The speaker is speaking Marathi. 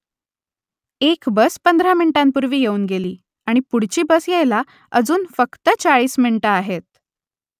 एक बस पंधरा मिनिटांपूर्वी येऊन गेली आणि पुढची बस यायला अजून फक्त चाळीस मिनिटं आहेत